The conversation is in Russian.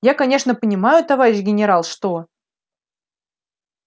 я конечно понимаю товарищ генерал что